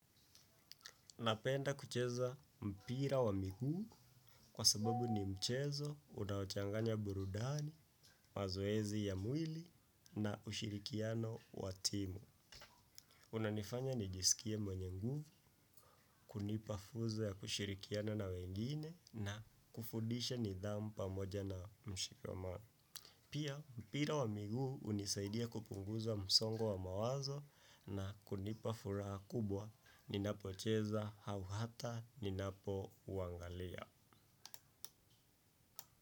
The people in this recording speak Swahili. Napenda kucheza mpira wa miguu kwa sababu ni mchezo unaochanganya burudani, mazoezi ya mwili na ushirikiano wa timu. Unanifanya nijisikie mwenye nguvu, kunipa funzo ya kushirikiana na wengine na kufundisha nidhamu pamoja na mshikamano. Pia mpira wa miguu hunisaidia kupunguza msongo wa mawazo na kunipa furaha kubwa ninapocheza au hata ninapo uangalia.